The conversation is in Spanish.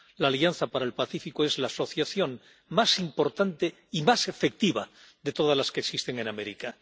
La Alianza para el Pacífico es la asociación más importante y más efectiva de todas las que existen en América.